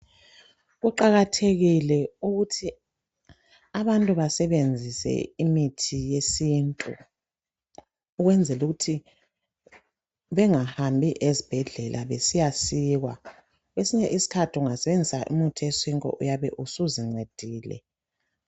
Kuqakathekile ukuthi abantu besebenzise imithi yesintu ukwenzela ukuthi bengahambi ezibhedlela besiya sikwa kwesinye isikhathi ungasebenzisa umuthi wesintu uyabe usuzincedile